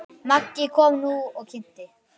Maggi kom nú og kynnti.